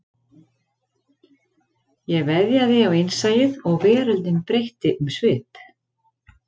Ég veðjaði á innsæið og veröldin breytti um svip